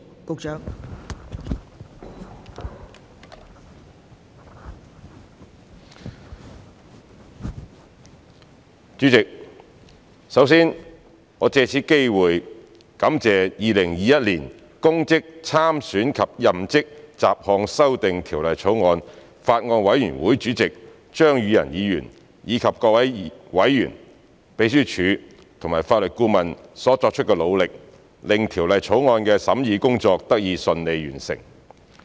代理主席，首先，我藉此機會感謝《2021年公職條例草案》委員會主席張宇人議員，以及各位委員、秘書處及法律顧問所作的努力，令《2021年公職條例草案》的審議工作得以順利完成。